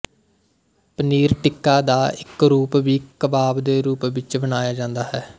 ਪਨੀਰ ਟਿੱਕਾ ਦਾ ਇੱਕ ਰੂਪ ਵੀ ਕਬਾਬ ਦੇ ਰੂਪ ਵਿੱਚ ਬਣਾਇਆ ਜਾਂਦਾ ਹੈ